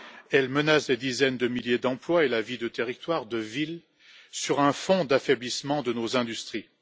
Elle menace des dizaines de milliers d'emplois et la vie de territoires, de villes, sur un fond d'affaiblissement de nos industries.